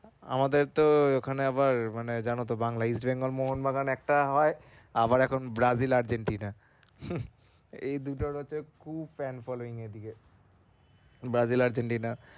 আমাদের তো ওখানে আবার মানে জানো তো বাংলা east bengal mohon বাগান একটা হয় এখন Brazil Argentina এই দুইটার হচ্ছে খুব fan following এদিকে। Brazil Argentina